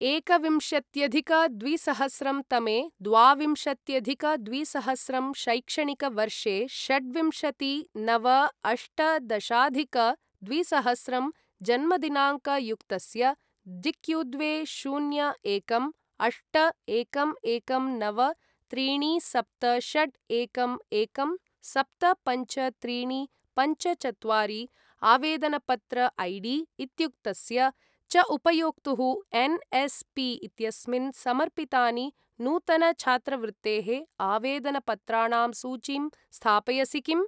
एकविंशत्यधिक द्विसहस्रं तमे द्वाविंशत्यधिक द्विसहस्रं शैक्षणिकवर्षे षड्विंशति नव अष्टदशाधिक द्विसहस्रं जन्मदिनाङ्कयुक्तस्य डिक्यूद्वे शून्य एकं अष्ट एकं एकं नव त्रीणि सप्त षट् एकं एकं सप्त पञ्च त्रीणि पञ्च चत्वारि आवेदनपत्र ऐडी इत्युक्तस्य च उपयोक्तुः एन्.एस्.पी. इत्यस्मिन् समर्पितानि नूतन छात्रवृत्तेः आवेदनपत्राणां सूचीं स्थापयसि किम्?